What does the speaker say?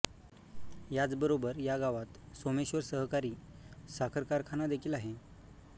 याचबरोबर या गावात सोमेश्वर सहकारि साखर कारखाना देखिल आहे